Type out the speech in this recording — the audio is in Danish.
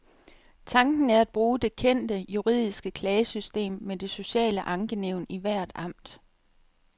Tanken er at bruge det kendte, juridiske klagesystem med det sociale ankenævn i hvert amt.